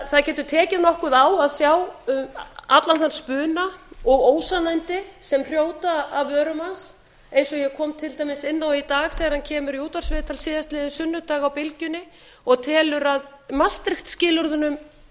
það getur tekið nokkuð á að sjá allan þann spuna og ósannindi sem hrjóta af vörum hans einn og ég kom til dæmis inn á í dag þegar hann kemur í útvarpsviðtal síðastliðinn sunnudag á bylgjunni og telur að maastricht skilyrðunum